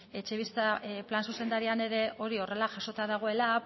etxebizitza plan zuzendarian ere hori horrela jasota dagoela